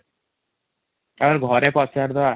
ଆମେ ଘରେ ପଚାରୀ ଦବା |